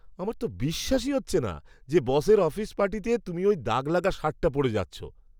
আমার তো বিশ্বাসই হচ্ছে না যে বসের অফিস পার্টিতে তুমি ওই দাগ লাগা শার্টটা পরে যাচ্ছো।